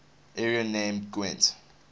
area named gwent